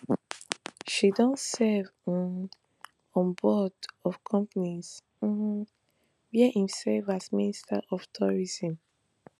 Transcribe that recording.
she don serve um on boards of companies um wia im serve as minister for tourism